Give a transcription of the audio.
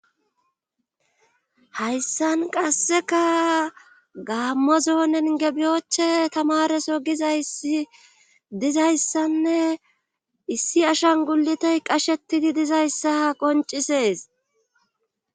Hayssan qasseka gaammozoonen gebiyoche tamareso gizaysi dizayssanne issi ashan gulitey qashetidi dizayssa ha qoncisees.